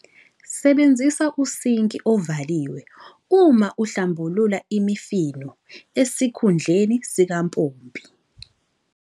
Sebenzisa usinki ovaliwe uma uhlambulula imifino, esikhundleni sikampompi.